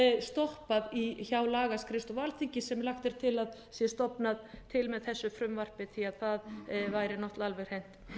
stoppað hjá lagaskrifstofu alþingis þar sem lagt er til að sé stofnað til með þessu frumvarp því það væri náttúrlega alveg hreint